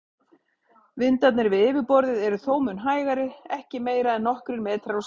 Vindarnir við yfirborðið eru þó mun hægari, ekki meira en nokkrir metrar á sekúndu.